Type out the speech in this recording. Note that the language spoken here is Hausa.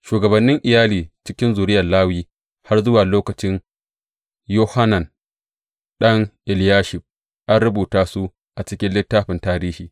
Shugabannin iyali cikin zuriyar Lawi har zuwa lokacin Yohanan ɗan Eliyashib, an rubuta su a cikin littafin tarihi.